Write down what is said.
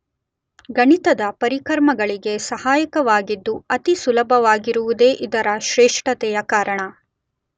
ಗಣಿತದ ಪರಿಕರ್ಮಗಳಿಗೆ ಸಹಾಯಕವಾಗಿದ್ದು ಅತಿಸುಲಭವಾಗಿರುವುದೇ ಇದರ ಶ್ರೇಷ್ಠತೆಯ ಕಾರಣ.